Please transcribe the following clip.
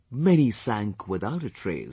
many sank without a trace